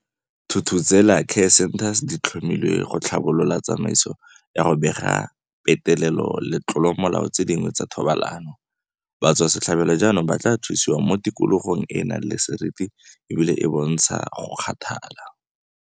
Thuthuzela care centres di tlhomilwe go tlhabolola tsamaiso ya go bega petelelo le ditlolomolao tse dingwe tsa thobalano. Batswasetlhabelo jaanong ba thusiwa mo tikologong e e nang le seriti ebile e bontsha go kgathala.